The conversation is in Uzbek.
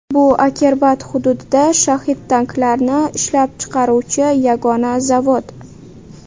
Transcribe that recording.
Bu Akerbat hududida shahid-tanklarni ishlab chiqaruvchi yagona zavod.